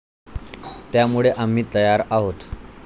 त्यामुळे आम्ही तयार आहोत.